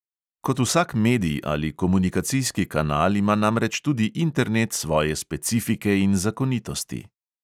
Kot vsak medij ali komunikacijski kanal ima namreč tudi internet svoje specifike in zakonitosti.